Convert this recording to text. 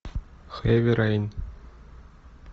хэви рейн